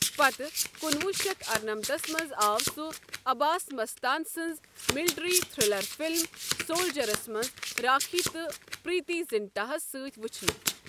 پتہٕ کُنوُہ شیتھ ارنمتھس منٛز آو سُہ عباس مستان سنٛز ملٹری تھرلر فلم سولجَرس منٛز راکھی تہٕ پریتی زنٹاہَس سۭتۍ وُچھنہٕ۔